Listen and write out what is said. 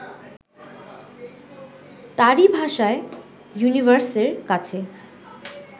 তাঁরই ভাষায় ইউনিভার্সের কাছে